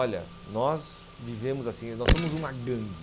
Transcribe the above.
Olha, nós vivemos assim, nós somos uma gangue.